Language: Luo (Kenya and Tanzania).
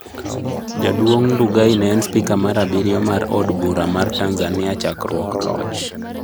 Jaduong' Ndugai ne en spika mar abirio mar od bura mar Tanzania chakruok loch